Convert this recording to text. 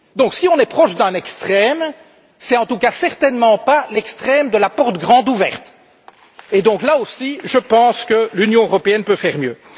Si on est proche d'un extrême, ce n'est en tout cas certainement pas l'extrême de la porte grande ouverte et donc, là aussi, je pense que l'Union européenne peut faire mieux.